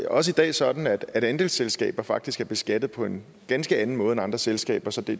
også i dag sådan at andelsselskaber faktisk er beskattet på en ganske anden måde end andre selskaber så det